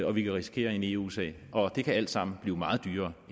og vi kan risikere en eu sag og det kan alt sammen blive meget dyrere